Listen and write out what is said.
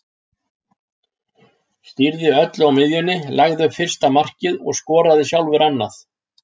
Stýrði öllu á miðjunni, lagði upp fyrsta markið og skoraði sjálfur annað.